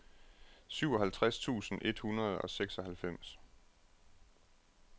syvoghalvtreds tusind et hundrede og seksoghalvfems